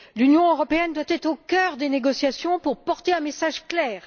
L'Union européenne doit être au cœur des négociations pour porter un message clair.